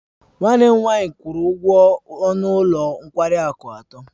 Nwanne m nwanyị kwuru ụgwọ ọnụ ụlọ nkwari akụ atọ.